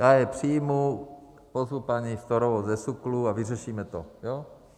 Já je přijmu, pozvu paní Storovou ze SÚKLu a vyřešíme to, jo?